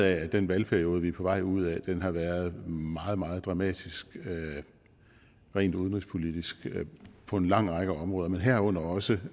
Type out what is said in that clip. af at den valgperiode vi er på vej ud af har været meget meget dramatisk rent udenrigspolitisk på en lang række områder men herunder også